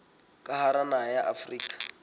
ka hara naha ya afrika